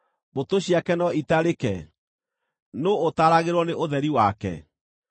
Mbũtũ ciake no itarĩke? Nũũ ũtaaragĩrwo nĩ ũtheri wake?